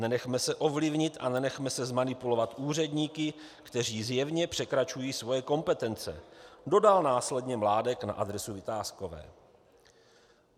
"Nenechme se ovlivnit a nenechme se zmanipulovat úředníky, kteří zjevně překračují svoje kompetence," dodal následně Mládek na adresu Vitáskové.